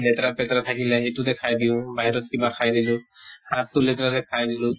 লেতেৰা পেতেৰা থাকিলে সেইটোতে খাই দিও, বাহিৰত কিবা খাই দিও। হাত টো লেতেৰাকে খাই দিলো